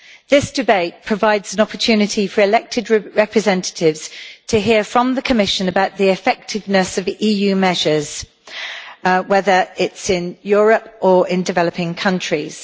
This debate provides an opportunity for elected representatives to hear from the Commission about the effectiveness of EU measures, whether it is in Europe or in developing countries.